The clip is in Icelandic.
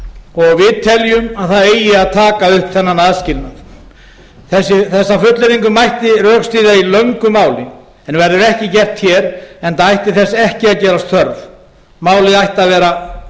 fiskmarkaði við teljum að það eigi að taka upp þennan aðskilnað þessa fullyrðingu mætti rökstyðja í löngu máli en verður ekki gert hér enda ætti þess ekki að gerast þörf málið ætti að vera